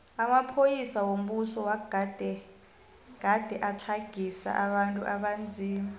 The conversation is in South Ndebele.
amapolisa wombuso wagade gade atlagisa abantu abanzima